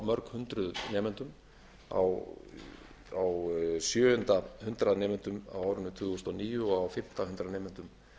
mörg hundruð nemendum á sjöunda hundrað nemendum á árinu tvö þúsund og níu og á fimmta hundrað nemendum